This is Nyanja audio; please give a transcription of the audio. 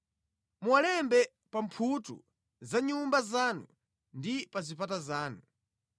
Muwalembe pa mphuthu za nyumba zanu ndi pa zipata zanu.